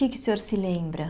O que é que o senhor se lembra?